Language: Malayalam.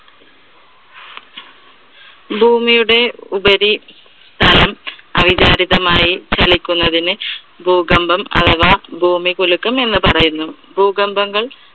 ഭൂമിയുടെ ഉപരി തലം അവിചാരിതമായി ചലിക്കുന്നതിനെ ഭൂകമ്പം അഥവാ ഭൂമികുലുക്കം എന്ന് പറയുന്നു. ഭൂകമ്പങ്ങൾ